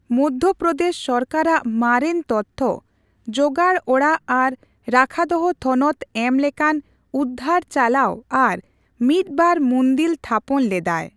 ᱢᱚᱫᱷᱚᱯᱨᱚᱫᱮᱥ ᱥᱚᱨᱠᱟᱨ ᱟᱜ ᱢᱟᱨᱮᱱ ᱛᱚᱛᱷᱛᱚ, ᱡᱚᱜᱟᱲ ᱚᱲᱟᱜ ᱟᱨ ᱨᱟᱠᱷᱟᱫᱚᱦᱚ ᱛᱷᱚᱱᱚᱛ ᱮᱢ ᱞᱮᱠᱟᱱ ᱩᱫᱷᱫᱷᱟᱹᱨ ᱪᱟᱞᱟᱣ ᱟᱨ ᱢᱤᱫᱵᱟᱨ ᱢᱩᱫᱤᱞ ᱛᱷᱟᱯᱚᱱ ᱞᱮᱫᱟᱭ ᱾